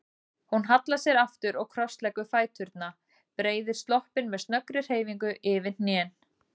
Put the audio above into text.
Hún hallar sér aftur og krossleggur fæturna, breiðir sloppinn með snöggri hreyfingu yfir hnén.